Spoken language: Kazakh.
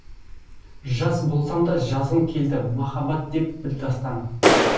жас болсам да жазғым келді махаббат деп бір дастан